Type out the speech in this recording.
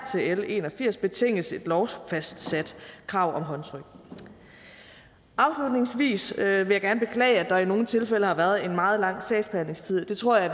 til l en og firs betinges et lovfastsat krav om håndtryk afslutningsvis vil jeg gerne beklage at der i nogle tilfælde har været en meget lang sagsbehandlingstid det tror jeg